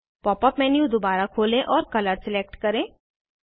pop up menu दोबारा खोलें और कलर सिलेक्ट करें